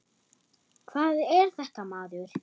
Hvað er þetta maður.